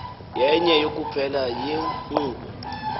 yenye kuphela yeenkqubo